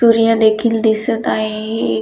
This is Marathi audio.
तुरीया देखील दिसत आहे एक.